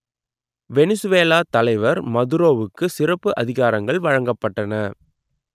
Venezuela தலைவர் மதுரோவுக்கு சிறப்பு அதிகாரங்கள் வழங்கப்பட்டன